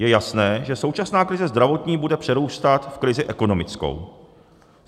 Je jasné, že současná krize zdravotní bude přerůstat v krizi ekonomickou.